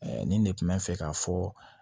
nin de kun mɛ fɛ k'a fɔ